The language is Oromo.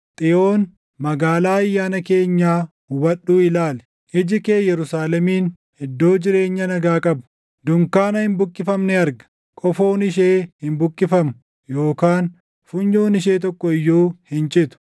Xiyoon, magaalaa ayyaana keenyaa hubadhuu ilaali; iji kee Yerusaalemin, iddoo jireenyaa nagaa qabu, dunkaana hin buqqifamne arga; qofoon ishee hin buqqifamu; yookaan funyoon ishee tokko iyyuu hin citu.